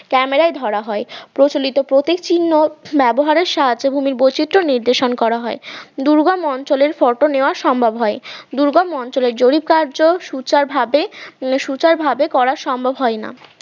camera য় ধরা হয় প্রচলিত প্রতীক চিহ্ন ব্যবহারের সাহায্যে ভূমির বৈচিত্র নির্দেশন করা হয়, দুর্গম অঞ্চলের photo নেওয়া সম্ভব হয়, দুর্গম অঞ্চলে জরিপ কার্য সুচার ভাবে সুচার ভাবে করা সম্ভব হয় না